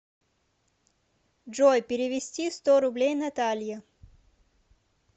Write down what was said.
джой перевести сто рублей наталье